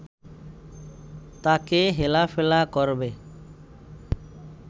তাকে হেলাফেলা করবে